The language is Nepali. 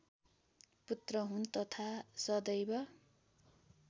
पुत्र हुन् तथा सदैव